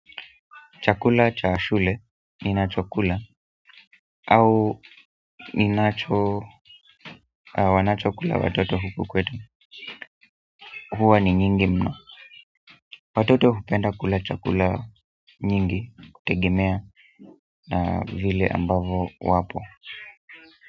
Chakula cha shule ninacho kula au wanachokula watoto huku kwetu huwa ni nyingi mno watoto hupenda kula chakula nyingi kutegemea vile ambavyo wapo.